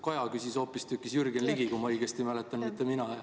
Ja seda küsis hoopistükkis Jürgen Ligi, kui ma õigesti mäletan, mitte mina.